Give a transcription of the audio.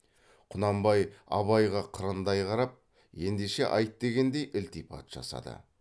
құнанбай абайға қырындай қарап ендеше айт дегендей ілтипат жасады